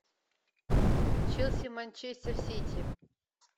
челси манчестер сити